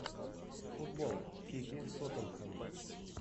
футбол сити тоттенхэм